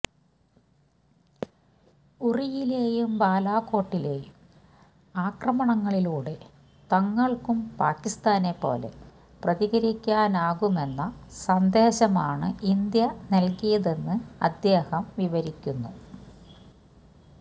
ഉറിയിലെയും ബാലാകോട്ടിലെയും ആക്രമണങ്ങളിലൂടെ തങ്ങള്ക്കും പാകിസ്താനെപ്പോലെ പ്രതികരിക്കാനാകുമെന്ന സന്ദേശമാണ് ഇന്ത്യ നല്കിയതെന്ന് അദ്ദേഹം വിവരിക്കുന്നു